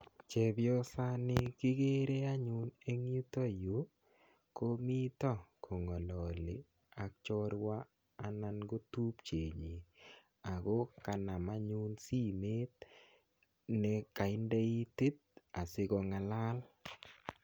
Chepyosani kikere anyun eng yutoyu, komito kong'alali ak chorwa, anan ko tupchet nyii. Ako kanam anyun simet nekainde itit, asikong'alal.